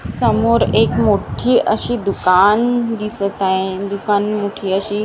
समोर एक मोठी अशी दुकान दिसत आहे दुकान मोठी अशी--